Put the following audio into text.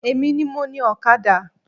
Emi ni mo ni Ọ̀kadà